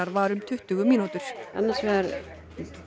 var um tuttugu mínútur annars vegar